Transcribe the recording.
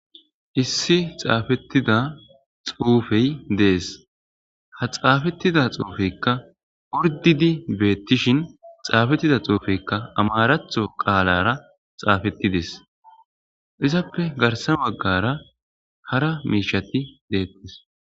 issi xaafettida xuufey dees ha xaafettida xuufeykka urdidi beettishin xaafettida xuufeykka amaraatho qaalara xaafettides izappe garsa baggara hara miishati deettes